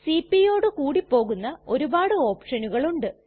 cpയോടു കൂടി പോകുന്ന ഒരുപാട് ഓപ്ഷനുകൾ ഉണ്ട്